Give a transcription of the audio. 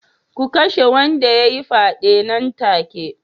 Ku kashe wanda ya yi fyaden nan take